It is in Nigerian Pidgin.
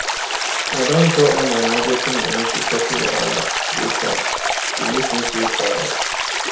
i don draw all my emergency money to settle wahala wey come e make me feel tired